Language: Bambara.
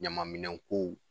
Ɲamanminɛn kow